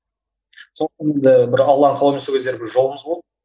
сондықтан енді бір алланың қалауымен сол кездері бір жолымыз болды